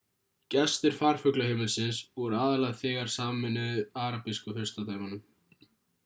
gestir farfuglaheimilisins voru aðallega þegnar sameinuðu arabísku furstadæmanna